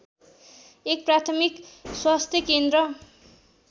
१ प्राथमिक स्वास्थ्य केन्द्र